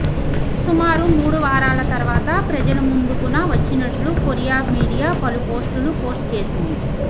సుమారు మూడు వారాల తర్వాత ప్రజల ముందుకున వచ్చినట్లు కొరియా మీడియా పలు ఫొటోలు పోస్ట్ చేసింది